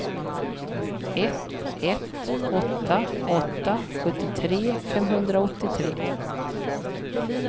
ett ett åtta åtta sjuttiotre femhundraåttiotre